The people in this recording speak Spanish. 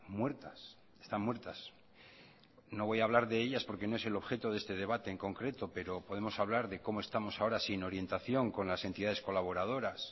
muertas están muertas no voy a hablar de ellas porque no es el objeto de este debate en concreto pero podemos hablar de cómo estamos ahora sin orientación con las entidades colaboradoras